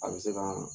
A bɛ se ka